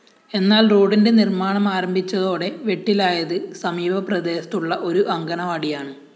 എന്നാല്‍ റോഡിന്റെ നിര്‍മ്മാണമാരംഭിച്ചതോടെ വെട്ടിലായത് സമീപ പ്രദേശത്തുള്ള ഒരു അംഗണവാടിയാണ്